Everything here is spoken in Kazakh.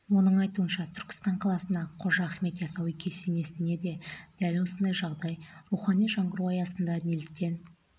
оның айтуынша түркістан қаласындағы қожа ахмет яссауи кесенесінде де дәл осындай жағдай рухани жаңғыру аясында неліктен